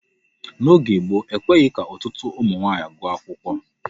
N'oge gboo, ekweghị ka ọtụtụ ụmụ nwaanyị gụọ akwụkwọ.